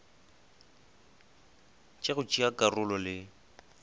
tša go tšea karolo le